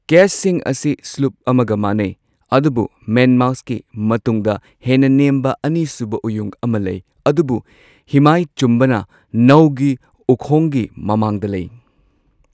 ꯀꯦꯆꯁꯤꯡ ꯑꯁꯤ ꯁ꯭ꯂꯨꯞ ꯑꯃꯒ ꯃꯥꯟꯅꯩ꯫ ꯑꯗꯨꯕꯨ ꯃꯦꯟꯃꯥꯁꯠꯀꯤ ꯃꯇꯨꯡꯗ ꯍꯦꯟꯅ ꯅꯦꯝꯕ ꯑꯅꯤꯁꯨꯕ ꯎꯌꯨꯡ ꯑꯃ ꯂꯩ꯫ ꯑꯗꯨꯕꯨ ꯍꯤꯃꯥꯏ ꯆꯨꯝꯕꯅ ꯅꯧꯒꯤ ꯎꯈꯣꯡꯒꯤ ꯃꯃꯥꯡꯗ ꯂꯩ꯫